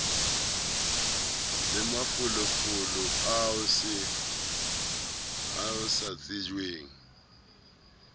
le mafolofolo ao se tsejwang